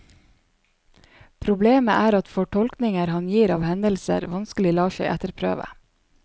Problemet er at fortolkninger han gir av hendelser vanskelig lar seg etterprøve.